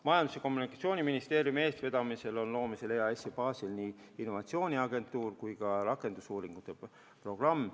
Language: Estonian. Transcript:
Majandus- ja Kommunikatsiooniministeeriumi eestvedamisel on EAS-i baasil loomisel nii innovatsiooniagentuur kui ka rakendusuuringute programm.